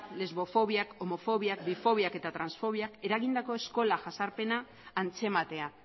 lesbofobiak homofobiak bifobiak eta transfobiak eragindako eskola jazarpena antzematea